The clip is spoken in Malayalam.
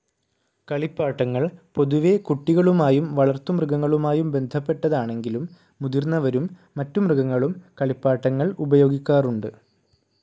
കളിപ്പാട്ടങ്ങൾ പൊതുവേ കുട്ടികളുമായും വളർത്തുമൃഗങ്ങളുമായും ബന്ധപ്പെട്ടതാണെങ്കിലും മുതിർന്നവരും മറ്റു മൃഗങ്ങളും കളിപ്പാട്ടങ്ങൾ ഉപയോഗിക്കാറുണ്ട്.